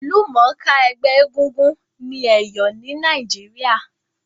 Ìlúmònká ẹgbẹ́ egúngún ni Èyò ni Naíjiria